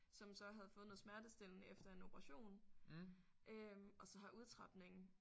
Som så havde fået noget smertestillende efter en operation øh og så har udtrapningen